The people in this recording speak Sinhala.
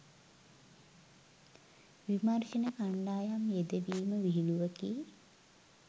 විමර්ශණ කණ්ඩායම් යෙදවීම විහිළුවකි.